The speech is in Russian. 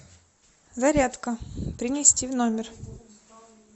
зарядка принести в номер